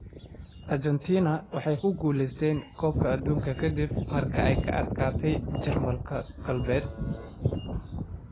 Argentina waxay ku guuleysatay Koobka Adduunka kadib markii ay ka adkaatay Jarmalka Galbeed.